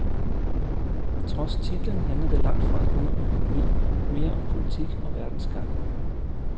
Trods titlen handler det langt fra kun om økonomi, mere om politik og verdens gang.